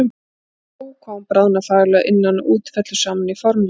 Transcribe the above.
Og Ó hvað hún bráðnar fagurlega, að innan og út, fellur saman í formleysu.